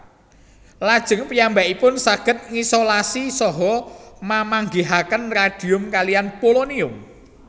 Lajeng piyambakipun saged ngisolasi saha mamanggihaken radium kaliyan polonium